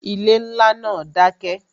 Ilé ńlá náà dákẹ́